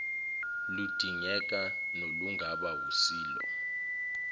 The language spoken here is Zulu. ludingeka nolungaba wusilo